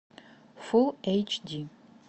фул эйч ди